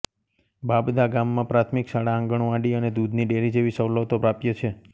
બાબદા ગામમાં પ્રાથમિક શાળા આંગણવાડી અને દૂધની ડેરી જેવી સવલતો પ્રાપ્ય છે